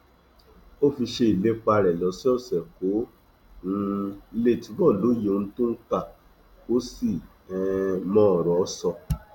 ó fi ṣe ìlépa rẹ lọsọọsẹ kó um lè túbọ lóye ohun tó ń kà kó sì um mọ ọrọ sọ